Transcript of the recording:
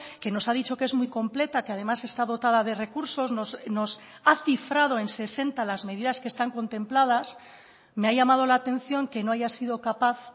que nos ha dicho que es muy completa que además está dotada de recursos nos ha cifrado en sesenta las medidas que están contempladas me ha llamado la atención que no haya sido capaz